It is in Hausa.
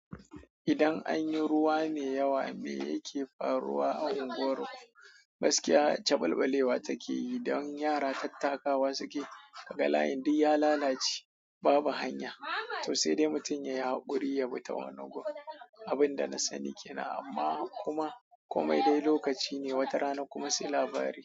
Idan anyi ruwa me yawa, me yake fa ruwa a unguwarku? Gaskiya, caɓalɓalewa take yi don yara tattakawa suke, kaga layin duk ya lalace, babu hanya. To sai dai mutum yai haƙuri yabi ta wani gun. Abin da na sani ke nan amma kuma komai dai lokaci ne, wata rana kuma sai labarai.